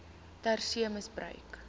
ter see misbruik